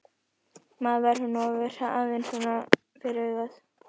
Maður verður nú að vera aðeins svona fyrir augað!